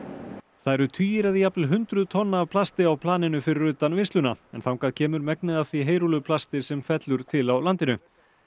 það eru tugir eða jafnvel hundruð tonna af plasti á planinu fyrir utan vinnsluna en þangað kemur megnið af því heyrúlluplasti sem fellur til á landinu